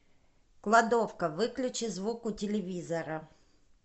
кладовка выключи звук у телевизора